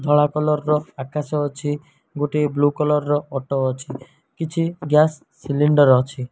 ଧଳା କଲର୍ ର ଆକାଶ ଅଛି। ଗୋଟିଏ ବ୍ଲୁ କଲର୍ ର ଅଟୋ ଅଛି। କିଛି ଗ୍ୟାସ୍ ସିଲିଣ୍ଡର୍ ଅଛି।